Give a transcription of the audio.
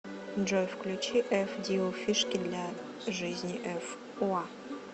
джой включи эф диу фишки для жизни эф уа